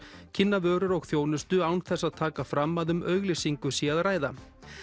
kynna vörur og þjónustu án þess að taka fram að um auglýsingu sé að ræða